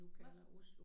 Nåh